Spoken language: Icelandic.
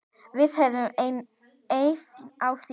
Við höfum efni á því.